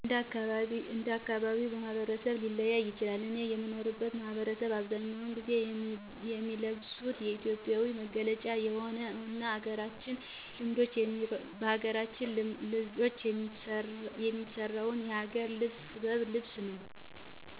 እንደ አካባቢው ማኅበረሰብ ሊለያይ ይችላል። እኔ የምኖርበት ማኅበረሰብ በአብዛኛው ጊዜ የሚለብሱት የኢትዮጵያዊ መገለጫ የሆነውን እና በሀገራችን ልጆች የሚሰራውን የሀገር ባህል ጥበብ ልብስ ነው።